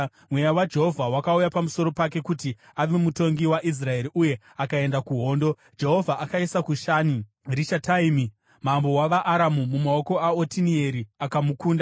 Mweya waJehovha wakauya pamusoro pake kuti ave mutongi weIsraeri uye akaenda kuhondo. Jehovha akaisa Kushani-Rishataimi mambo wavaAramu mumaoko aOtinieri, akamukunda.